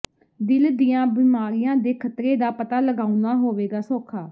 ਦਿਲ ਦੀਆਂ ਬਿਮਾਰੀਆਂ ਦੇ ਖ਼ਤਰੇ ਦਾ ਪਤਾ ਲਗਾਉਣਾ ਹੋਵੇਗਾ ਸੌਖਾ